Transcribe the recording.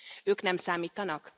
Ők nem számítanak?